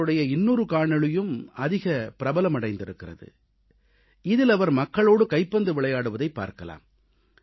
அவருடைய இன்னொரு காணொளியும் அதிக பிரபலமடைந்திருக்கிறது இதில் அவர் மக்களோடு கைப்பந்து விளையாடுவதைப் பார்க்கலாம்